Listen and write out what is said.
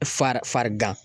Fari farigan